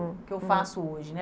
O que eu faço hoje, né? Hum, uhum.